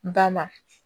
N ta ma